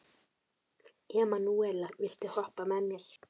Emanúela, viltu hoppa með mér?